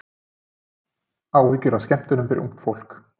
Áhyggjur af skemmtunum fyrir ungt fólk